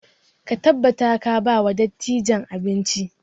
Ka tabbata ka ba wa dattijan abinci!